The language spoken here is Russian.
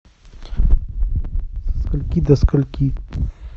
от скольки до скольки